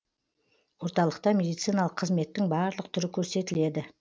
орталықта медициналық қызметтің барлық түрі көрсетіледі